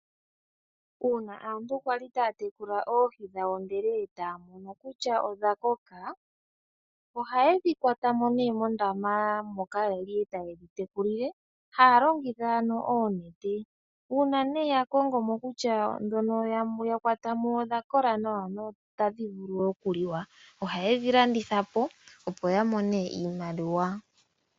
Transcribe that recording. Uuna aantu kwaki taya tekula oohi dhawo ndele etaya mono kutya odha koka ohayedhi kwatamo mondama moka yali taye dhi tekulile, haya longitha oonete uuna ya kongomo kutya ndhono ya kwatamo odha kola nawa no otadhi vulu okuliwa ohayedhi landitha po opo ya mone iimaliwa.